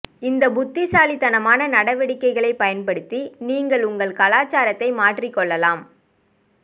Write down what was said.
இந்த புத்திசாலித்தனமான நடவடிக்கைகளைப் பயன்படுத்தி நீங்கள் உங்கள் கலாச்சாரத்தை மாற்றிக் கொள்ளலாம்